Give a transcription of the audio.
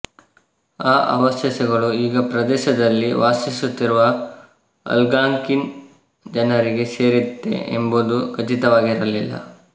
ಆ ಅವಶೇಷಗಳು ಈಗ ಆ ಪ್ರದೇಶದಲ್ಲಿ ವಾಸಿಸುತ್ತಿರುವ ಆಲ್ಗಾಂಕಿನ್ ಜನರಿಗೆ ಸೇರಿತ್ತೇ ಎಂಬುದು ಖಚಿತವಾಗಿರಲಿಲ್ಲ